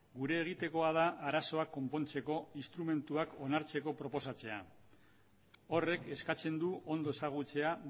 gure egitekoa da arazoak konpontzeko instrumentuak onartzeko proposatzea horrek eskatzen du ondo ezagutzea